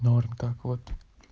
норм так вот